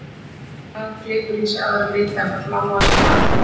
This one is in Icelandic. Blátt blað gleypir í sig aðra liti en þann bláa sem það endurkastar.